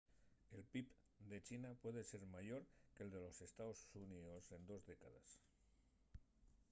el pib de china puede ser mayor que’l de los estaos xuníos en dos décades